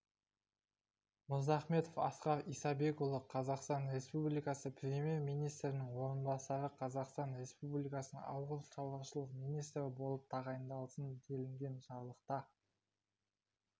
мырзахметов асқар исабекұлы қазақстан республикасы премьер-министрінің орынбасары қазақстан республикасының ауыл шаруашылық министрі болып тағайындалсын делінген жарлықта